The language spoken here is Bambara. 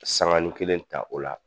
Sankani kelen ta o la.